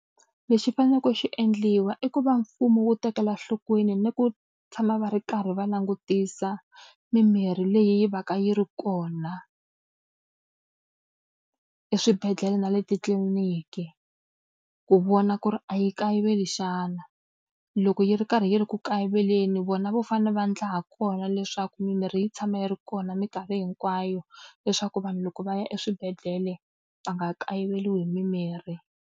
Lexi faneleke xi endliwa i ku va mfumo wu tekela enhlokweni ni ku tshama va ri karhi va langutisa mimirhi leyi va ka yi ri kona eswibedhlele na le titliliniki ku vona ku ri a yi kayiveli xana. Loko yi ri karhi yi ri ku kayiveleni vona vo fanele va endla ha kona leswaku mimirhi yi tshama yi ri kona minkarhi hinkwayo leswaku vanhu loko va ya eswibedhlele va nga kayiveriwi hi mimirhi.